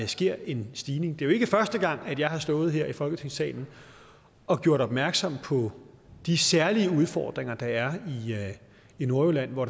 sker en stigning det er jo ikke første gang jeg har stået her i folketingssalen og gjort opmærksom på de særlige udfordringer der er i nordjylland hvor